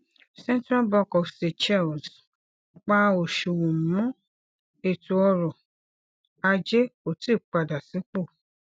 central bank of seychelles pa oṣuwọn mọ ètò ọrọ ajé kò tíì padà sípò